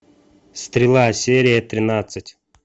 стрела серия тринадцать